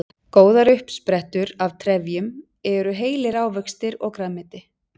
góðar uppsprettur af trefjum eru heilir ávextir og grænmeti